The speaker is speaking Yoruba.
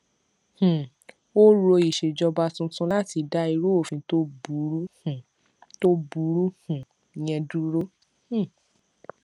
um ó rọ ìṣèjọba tuntun láti dá irú òfin tó burú um tó burú um yẹn dúró um